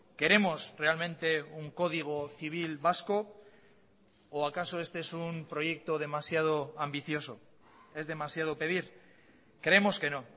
queremos realmente un código civil vasco o a caso este es un proyecto demasiado ambicioso es demasiado pedir creemos que no